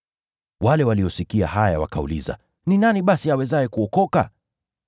Wale waliosikia haya wakauliza, “Ni nani basi awezaye kuokoka?”